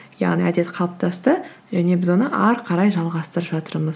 яғни әдет қалыптасты және біз оны әрі қарай жалғастырып жатырмыз